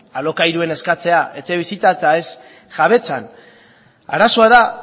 alokairuan eskatzea etxebizitza eta ez jabetzan arazoa da